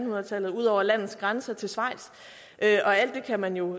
hundrede tallet og ud over landets grænser til schweiz alt det kan man jo